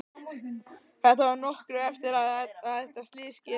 Þetta var nokkru eftir að þetta slys skeði.